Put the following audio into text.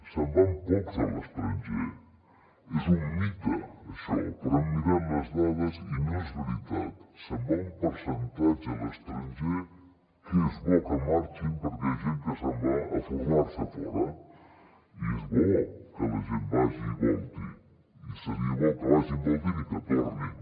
se’n van pocs a l’estranger és un mite això perquè hem mirat les dades i no és veritat se’n va un percentatge a l’estranger que és bo que marxi perquè és gent que se’n va a formar se a fora i és bo que la gent vagi i volti i seria bo que vagin voltin i que tornin